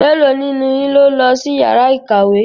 Mélòó nínú yín ló lọ sí yàrá ìkàwé?